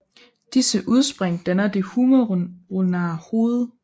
Disse udspring danner det humeroulnare hoved